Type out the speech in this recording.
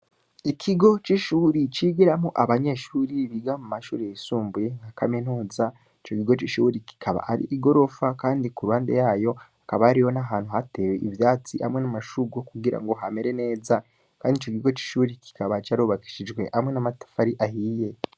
Ikigo c'ishuri, cigiramwo abanyeshuri biga mu mashuri yisumbuye, nka kaminuza, ico kigo c'ishuri, kikaba ari igorofa, kandi ku ruhande yayo, hababa hariho n'ahantu hatewe ivyatsi, hamwe n'amashurwe kugira ngo hamere neza; kandi ico kigo c'ishuri, kikaba carubakishijwe hamwe n'amatafari ahiye.